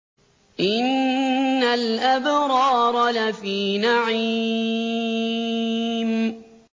إِنَّ الْأَبْرَارَ لَفِي نَعِيمٍ